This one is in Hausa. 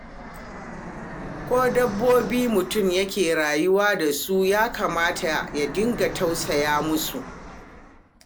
Ko dabbobi mutum yake rayuwa da su, ya kamata ya dinga tausaya musu.